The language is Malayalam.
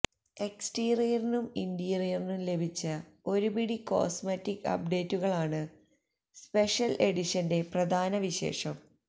എക്സ്റ്റീരിയറിനും ഇന്റീരിയറിനും ലഭിച്ച ഒരുപിടി കോസ്മറ്റിക് അപ്ഡേറ്റുകളാണ് സ്പെഷ്യല് എഡിഷന്റെ പ്രധാന വിശേഷം